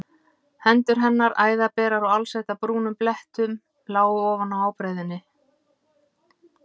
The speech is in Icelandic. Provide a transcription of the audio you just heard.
Hendur hennar, æðaberar og alsettar brúnum blettum lágu ofan á ábreiðunni.